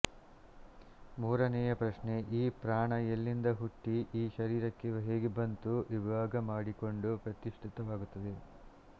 ಮೂರನೆಯ ಪ್ರಶ್ನೆ ಈ ಪ್ರಾಣ ಎಲ್ಲಿಂದ ಹುಟ್ಟಿ ಈ ಶರೀರಕ್ಕೆ ಹೇಗೆ ಬಂದು ವಿಭಾಗ ಮಾಡಿಕೊಂಡು ಪ್ರತಿಷ್ಠಿತವಾಗುತ್ತದೆ